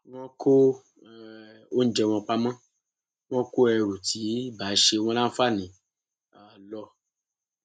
wọn kó um oúnjẹ wọn pamọ wọn kó ẹrù tí ì bá ṣe wọn láǹfààní um lọ